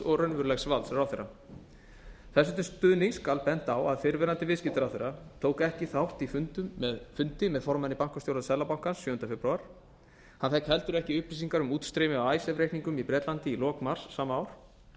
og raunverulegs valds ráðherra þessu til stuðnings skal bent á að fyrrverandi viðskiptaráðherra tók ekki þátt í fundi með formanni bankastjórnar seðlabanka íslands sjöunda febrúar hann fékk ekki heldur upplýsingar um útstreymi af icesave reikningum í bretlandi í lok mars sama ár